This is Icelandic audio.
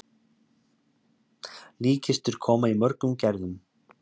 Líkkistur koma í mörgum gerðum.